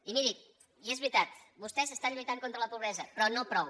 i miri i és veritat vostès estan lluitant contra la pobresa però no prou